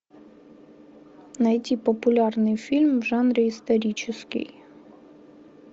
найти популярный фильм в жанре исторический